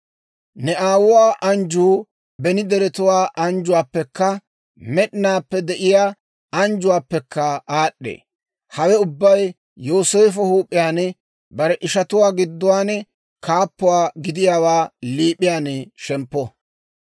Ne aawuwaa anjjuu beni deretuwaa anjjuwaappekka med'inaappe de'iyaa anjjuwaappekka aad'd'ee. Hawe ubbay Yooseefo huup'iyaan, bare ishatuwaa gidduwaan kaappuwaa gidiyaawaa liip'iyaan shemppo.